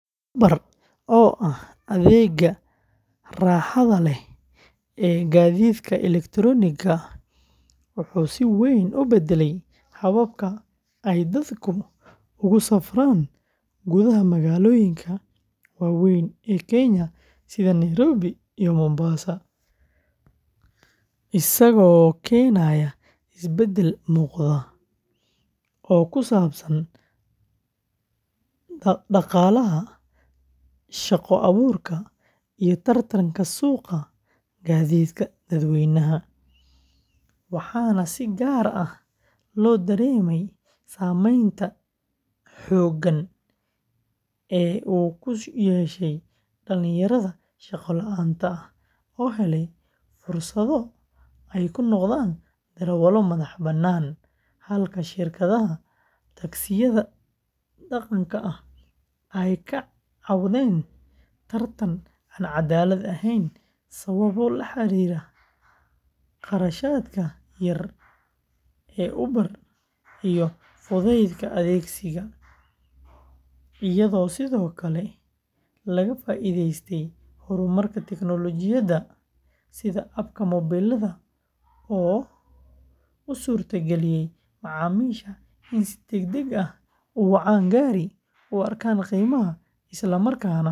Uber, oo ah adeegga raaxada leh ee gaadiidka elektarooniga ah, wuxuu si weyn u beddelay habka ay dadku ugu safraan gudaha magaalooyinka waaweyn ee Kenya sida Nairobi iyo Mombasa, isagoo keenay isbeddel muuqda oo ku saabsan dhaqaalaha, shaqo abuurka, iyo tartanka suuqa gaadiidka dadweynaha, waxaana si gaar ah loo dareemay saameynta togan ee uu ku yeeshay dhalinyarada shaqo la'aanta ah oo helay fursado ay ku noqdaan darawallo madax-bannaan, halka shirkadaha taksiyada dhaqanka ah ay ka cawdeen tartan aan cadaalad ahayn sababo la xiriira kharashaadka yar ee Uber iyo fudaydka adeeggiisa, iyadoo sidoo kale laga faa'iidaystay horumarka tiknoolajiyadda sida app-ka mobilada oo u suurtageliyay macaamiisha in si degdeg ah u wacaan gaari, u arkaan qiimaha, isla markaana u qiimeeyaan darawalka.